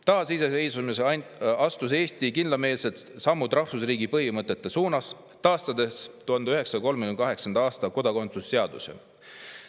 Taasiseseisvumisel astus Eesti kindlameelsed sammud rahvusriigi põhimõtete suunas, taastades 1938. aasta kodakondsusseaduse.